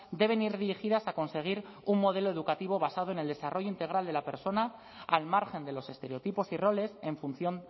deben ir dirigidas a conseguir un modelo educativo basado en el desarrollo integral de la persona al margen de los estereotipos y roles en función